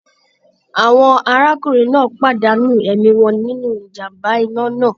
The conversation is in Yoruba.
Àwọn arákùnrin náà pàdánù ẹ̀mí wọn nínú ìjàm̀bá iná náà.